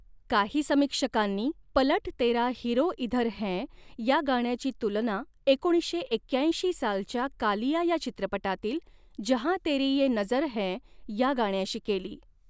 काही समीक्षकांनी 'पलट तेरा हिरो इधर है' या गाण्याची तुलना एकोणीसशे एक्याऐंशी सालच्या कालिया या चित्रपटातील 'जहां तेरी ये नजर है' या गाण्याशी केली.